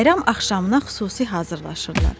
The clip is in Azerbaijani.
Bayram axşamına xüsusi hazırlaşırlar.